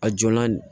A jo la nin